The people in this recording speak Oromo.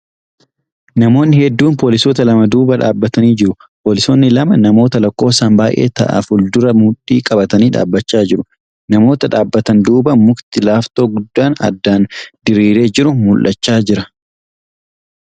Namoonni hedduun poolisoota lama duuba dhaabbatanii jiru. Poolisoonni lama namoota lakkoofsaan baay'ee ta'a fuuldura mudhii qabatanii dhaabbachaa jiru. Namoota dhaabbatan duuba mukti laaftoo guddaa addaan diriiree jiru mul'achaa jira .